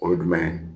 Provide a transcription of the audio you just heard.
O ye jumɛn ye